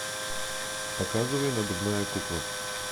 показывай надувная кукла